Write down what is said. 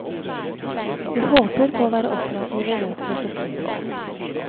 Vi håper på å være operative i løpet av september.